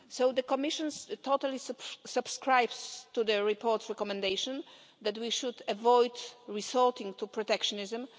The Commission totally subscribes to the report's recommendation that we should avoid resorting to protectionism.